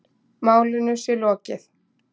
Málinu sé lokið.